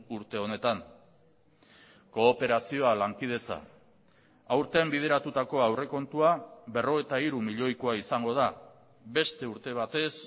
urte honetan kooperazioa lankidetza aurten bideratutako aurrekontua berrogeita hiru milioikoa izango da beste urte batez